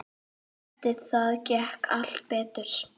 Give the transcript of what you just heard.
Eftir það gekk allt betur.